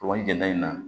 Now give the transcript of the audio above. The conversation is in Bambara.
Ɔ jɛnda in na